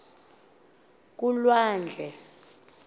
kulwandle